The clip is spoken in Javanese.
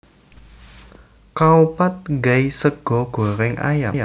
Khao pad gai sega gorèng ayam